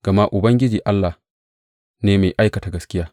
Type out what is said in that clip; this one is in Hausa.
Gama Ubangiji Allah ne mai aikata gaskiya.